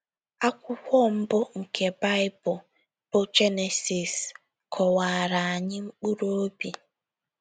Akwụkwọ mbụ nke Baịbụl, bụ́ Jenesis, kọwaara anyị mkpụrụ obi.